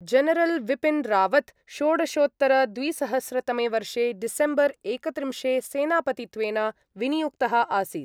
General Bipin Rawat षोडशोत्तरद्विसहस्रतमे वर्षे December एकत्रिंशे सेनापतित्वेन विनियुक्तः आसीत्।